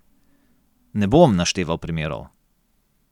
Ne bom našteval primerov.